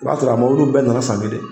O b'a sɔrɔ a mɔbiliw bɛɛ nana san kelen